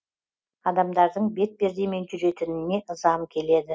адамдардың бетпердемен жүретініне ызам келеді